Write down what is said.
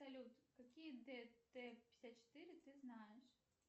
салют какие дт пятьдесят четыре ты знаешь